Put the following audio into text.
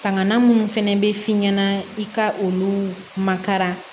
Kanna minnu fɛnɛ bɛ f'i ɲɛna i ka olu makara